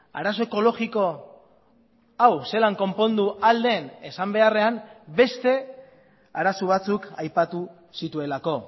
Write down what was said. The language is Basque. arazo ekologiko hau zelan konpondu ahal den esan beharrean beste arazo batzuk aipatu zituelako